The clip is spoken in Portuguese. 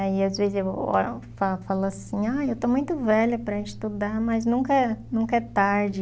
Aí às vezes eu falo falo assim, aí eu estou muito velha para estudar, mas nunca é nunca é tarde.